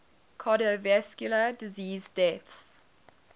cardiovascular disease deaths